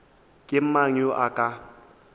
ke mang yo a ka